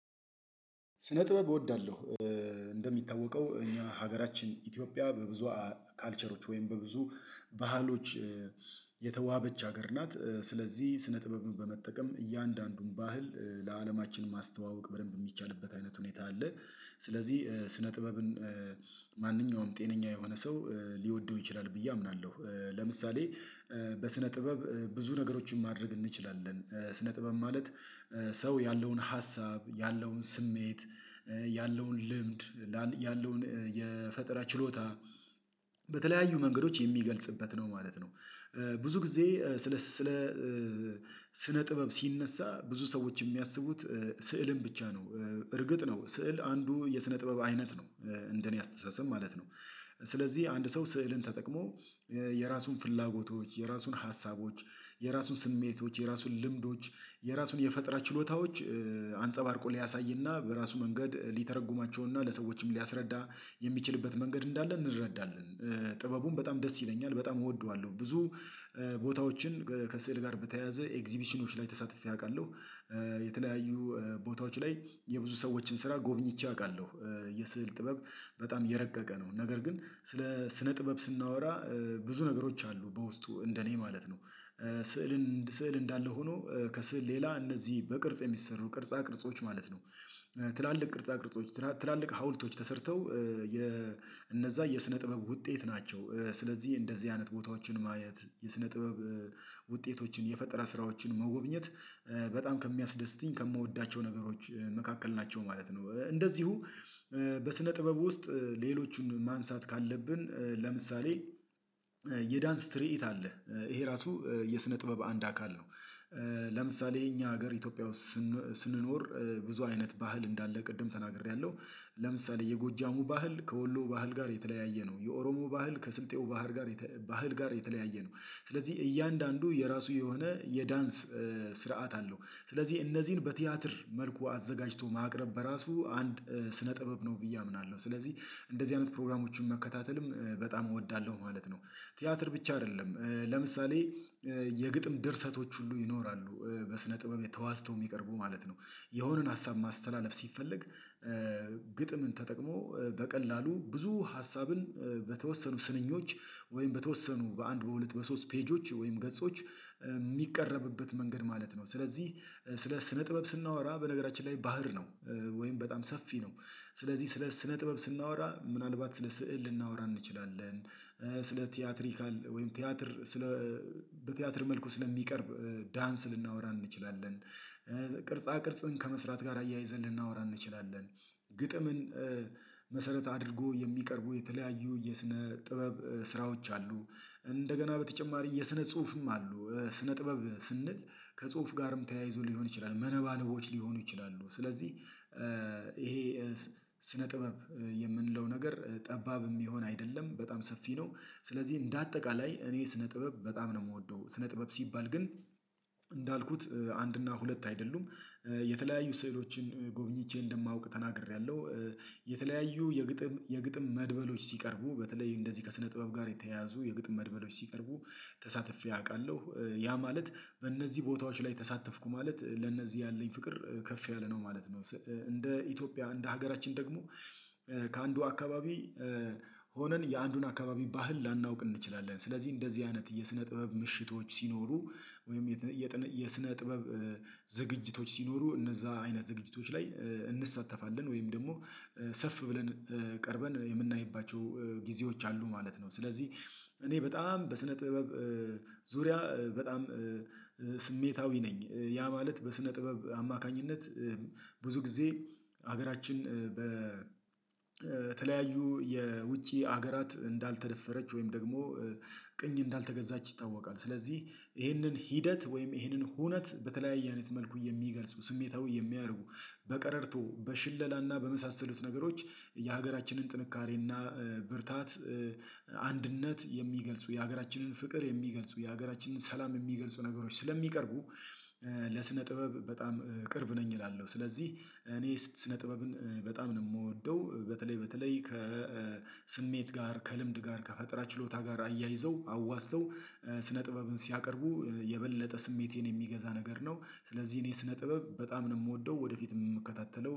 ስነ ጥበብ እወዳለሁ። እንደሚታወቀው እኛ ሀገራችን ኢትዮጵያ በብዙ ካልቸሮች ወይም በብዙ ባህሎች የተዋበች ሀገር ናት። ስለዚህ ስነ ጥበብ በመጠቀም እያንዳንዱን ባህል ለአለማችን ማስተዋወቅ በደንብ የሚቻልበት አይነት ሁኔታ አለ። ስለዚህ ስነ ጥበብን ማንኛውም ጤነኛ የሆነ ሰው ሊወደው ይችላል ብዬ አምናለሁ። ለምሳሌ በስነ ጥበብ ብዙ ነገሮችን ማድረግ እንችላለን። ስነ ጥበብ ማለት ሰው ያለውን ሀሳብ ያለውን ስሜት ያለውን ልምድ ያለውን የፈጠራ ችሎታ በተለያዩ መንገዶች የሚገልጽበት ነው ማለት ነው። ብዙ ጊዜ ስለ ስነ ጥበብ ሲነሳ ብዙ ሰዎች የሚያስቡት ስዕልን ብቻ ነው። እርግጥ ነው ስዕል አንዱ የስነ ጥበብ አይነት ነው እንደ እኔ አስተሳሰብ ማለት ነው። ስለዚህ አንድ ሰው ስዕልን ተጠቅሞ የራሱን ፍላጎቶች የራሱን ሀሳቦች የራሱን ስሜቶች የራሱን ልምዶች የራሱን የፈጠራ ችሎታዎች አንጸባርቆ ሊያሳይና በራሱ መንገድ ሊተረጉማቸውና ለሰዎችም ሊያስረዳ የሚችልበት መንገድ እንዳለ እንረዳለን። ጥበቡም በጣም ደስ ይለኛል በጣም እወደዋለሁ ብዙ ቦታዎችን ከስዕል ጋር በተያያዘ ኤግዚቢሽኖች ላይ ተሳትፌ አውቃለሁ። የተለያዩ ቦታዎች ላይ የብዙ ሰዎችን ስራ ጎብኝቼ አውቃለሁ። የስዕል ጥበብ በጣም የረቀቀ ነው ነገር ግን ስለ ስነ ጥበብ ስናወራ ብዙ ነገሮች አሉ በውስጡ እንደ እኔ ማለት ነው። ስዕልን ስዕል እንዳለ ሆኖ ከስዕል ሌላ እነዚህ በቅርጽ የሚሰሩ ቅርጻ ቅርጾች ማለት ነው። ትላልቅ ቅርጻ ቅርጾች ትላልቅ ሀውልቶች ተሰርተው የእነዚያ የስነ ጥበብ ውጤት ናቸው። ስለዚህ እንደዚህ አይነት ቦታዎችን ማየት የስነ ጥበብ ውጤቶችን የፈጠራ ስራዎችን መጎብኘት በጣም ከሚያስደስትኝ ከምወዳቸው ነገሮች መካከል ናቸው ማለት ነው። እንደዚሁ በስነ ጥበብ ውስጥ ሌሎቹን ማንሳት ካለብን ለምሳሌ የዳንስ ትርኢት አለ ይሄ ራሱ የስነ ጥበብ አንድ አካል ነው። ለምሳሌ እኛ ሀገር ኢትዮጵያ ውስጥ ስንኖር ብዙ አይነት ባህል እንዳለ ቅድም ተናግሬያለሁ። ለምሳሌ የጎጃሙ ባህል ከወሎ ባህል ጋር የተለያየ ነው የኦሮሞ ባህል ከስልጤው ባህር ጋር ባህል ጋር የተለያየ ነው። ስለዚህ እያንዳንዱ የራሱ የሆነ የዳንስ ስርዓት አለው ስለዚህ እነዚህን በቲያትር መልኩ አዘጋጅቶ ማቅረብ በራሱ አንድ ስነ ጥበብ ነው ብዬ አምናለሁ። ስለዚህ እንደዚህ አይነት ፕሮግራሞችን መከታተልም በጣም እወዳለሁ ማለት ነው። ቲያትር ብቻ አይደለም ለምሳሌ የግጥም ድርሰቶች ሁሉ ይኖራሉ በስነ ጥበብ ተዋዝተው የሚቀርቡ ማለት ነው። የሆነን ሀሳብ ማስተላለፍ ሲፈለግ ግጥምን ተጠቅሞ በቀላሉ ብዙ ሀሳብን በተወሰኑ ስንኞች ወይም በተወሰኑ በአንድ በሁለት በሶስት ፔጆች ወይም ገጾች ሚቀረብበት መንገድ ማለት ነው። ስለዚህ ስለ ስነ ጥበብ ስናወራ በነገራችን ላይ ባህር ነው። ወይም በጣም ሰፊ ነው። ስለዚህ ስለ ስነ ጥበብ ስናወራ ምናልባት ስለ ስዕል ልናወራ እንችላለን። ስለ ቲያትሪካል ወይም ቲያትር ስለ በቲያትር መልኩ ስለሚቀርብ ዳንስ ልናወራ እንችላለን። ቅርጻ ቅርጽን ከመስራት ጋር አያይዘን ልናወራ እንችላለን። ግጥምን መሰረት አድርጎ የሚቀርቡ የተለያዩ የስነ ጥበብ ስራዎች አሉ። እንደገና በተጨማሪ የስነ ጽሁፍም አሉ ስነ ጥበብ ስንል ከጽሁፍ ጋርም ተያይዞ ሊሆን ይችላል መነባንቦች ሊሆኑ ይችላሉ። ስለዚህ ይሄ ስነ ጥበብ የምንለው ነገር ጠባብ የሚሆን አይደለም በጣም ሰፊ ነው። ስለዚህ እንደ አጠቃላይ እኔ ስነ ጥበብ በጣም ነው የምወደው ስነ ጥበብ ሲባል ግን እንዳልኩት አንድ እና ሁለት አይደሉም የተለያዩ ሴዕሎችን ጎብኝቼ እንደማውቅ ተናግሬያለሁ። የተለያዩ የግጥም የግጥም መድበሎች ሲቀርቡ በተለይ እንደዚህ ከስነ ጥበብ ጋር የተያያዙ የግጥም መድበሎች ሲቀርቡ ተሳትፌ አውቃለሁ ያ ማለት በእነዚህ ቦታዎች ላይ ተሳተፍኩ ማለት ለእነዚህ ያለኝ ፍቅር ከፍ ያለ ነው ማለት ነው። እንደ ኢትዮጵያ እንደ ሀገራችን ደግሞ ከአንዱ አካባቢ ሆነን የአንዱን አካባቢ ባህል ላናውቅ እንችላለን ስለዚህ እንደዚህ አይነት የስነ ጥበብ ምሽቶች ሲኖሩ ወይም የስነ ጥበብ ዝግጅቶች ሲኖሩ እነዚያ አይነት ዝግጅቶች ላይ እንሳተፋለን ወይም ደግሞ ሰፍ ብለን ቀርበን የምናይባቸው ጊዜዎች አሉ ማለት ነው። ስለዚህ እኔ በጣም በስነ ጥበብ ዙሪያ በጣም ስሜታዊ ነኝ። ያ ማለት በስነ ጥበብ አማካኝነት ብዙ ጊዜ ሀገራችን በተለያዩ የውጪ ሀገራት እንዳልተደፈረች ወይም ደግሞ ቅኝ እንዳልተገዛች ይታወቃል። ስለዚህ ይሄንን ሂደት ወይም ይህንን ሁነት በተለያየ አይነት መልኩ የሚገልጹ ስሜታዊ የሚያደርጉ በቀረርቶ በሽለላና በመሳሰሉት ነገሮች የሀገራችንን ጥንካሬና ብርታት አንድነት የሚገልጹ የሀገራችንን ፍቅር የሚገልጹ የሀገራችንን ሰላም የሚገልጹ ነገሮች ስለሚቀርቡ። ለስነ ጥበብ በጣም ቅርብ ነኝ እላለው። ስለዚህ እኔ ስነ ጥበብን በጣም ነው የምወደው በተለይ በተለይ ከስሜት ጋር ከልምድ ጋር ከፈጠራ ችሎታ ጋር አያይዘው አዋዝተው ስነ ጥበብን ሲያቀርቡ የበለጠ ስሜቴን የሚገዛ ነገር ነው ስለዚህ እኔ ስነ ጥበብ በጣም ነው የምወደው። ወደፊት የምከታተለው